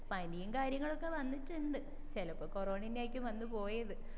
പനിയും കാര്യങ്ങളൊക്കെ വന്നിട്ടുണ്ട് ചിലപ്പോ കൊറോണ അന്നെ ആയിരിക്കും വന്നു പോയത്